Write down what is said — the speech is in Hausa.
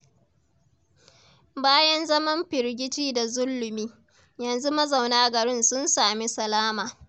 Bayan zaman firgici da zulumi, yanzu mazauna garin sun sami salama.